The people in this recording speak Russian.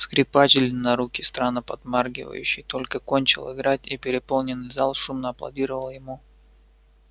скрипач длиннорукий странно подмаргивающий только кончил играть и переполненный зал шумно аплодировал ему